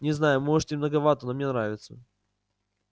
не знаю может и многовато но мне нравится